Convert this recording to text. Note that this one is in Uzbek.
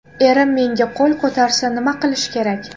Erim menga qo‘l ko‘tarsa nima qilish kerak?